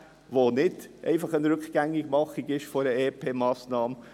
Es geht nicht um das Rückgängigmachen einer EP-Massnahme.